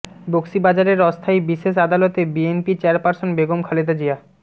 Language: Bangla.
বকশিবাজারের অস্থায়ী বিশেষ আদালতে বিএনপি চেয়ারপারসন বেগম খালেদা জিয়া